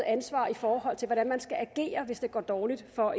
ansvar i forhold til hvordan man skal agere hvis det går dårligt for